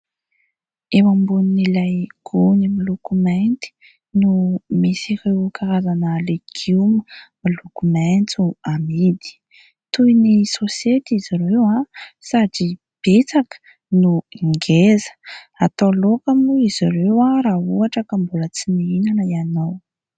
Eo ambonin'ilay gony miloko mainty no misy ireo karazana legioma miloko maitso amidy. Toy ny saosety izy ireo sady betsaka no ngeza. Atao laoka moa izy ireo raha ohatra ka mbola tsy nihinana ianao.